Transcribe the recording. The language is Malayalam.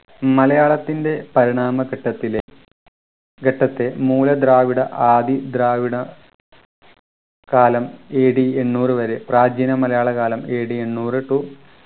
മലയാളത്തിൻ്റെ പരിണാമഘട്ടത്തിലെ ഘട്ടത്തെ മൂല ദ്രാവിഡ ആദി ദ്രാവിഡ കാലം AD എണ്ണൂറു വരെ പ്രാചീന മലയാള കാലം AD എണ്ണൂറു to